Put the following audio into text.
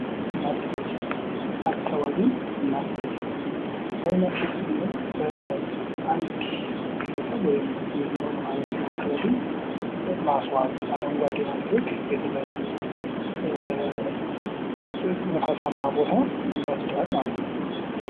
ማስጌጥ አካባቢን ማስጌጥ :- አካባቢን ማስጌጥ ስንል አንድ ግለሰብ ወይም ማህበረሰብ አካባቢ ማስዋብ አረንጓዴ ማድረግ የተለመደ ንፋሳማ ቦታ መፍጠር ማለት ነዉ።